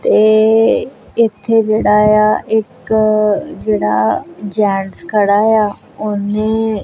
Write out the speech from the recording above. ਤੇ ਇੱਥੇ ਜਿਹੜਾ ਆ ਇੱਕ ਜਿਹੜਾ ਜੈਂਟਸ ਖੜਾ ਆ ਉਹਨੇ--